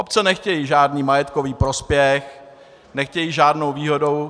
Obce nechtějí žádný majetkový prospěch, nechtějí žádnou výhodu.